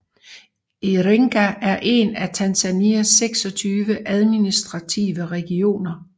Iringa er en af Tanzanias 26 administrative regioner